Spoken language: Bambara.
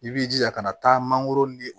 I b'i jija ka na taa mangoro ni